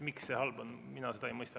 Miks see halb on, mina seda ei mõista.